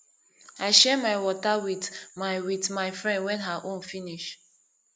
i share my water wit my wit my friend wen her own finish